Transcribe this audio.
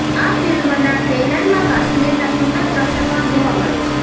આ ફિલ્મના ટ્રેલરમાં કાશ્મીરના સુંદર દ્રશ્યો પણ જોવા મળે છે